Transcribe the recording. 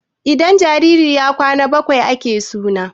idan jariri ya Kwan bakwai ake suna